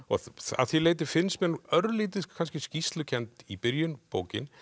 að því leyti finnst mér hún örlítið skýrslukennd í byrjun bókin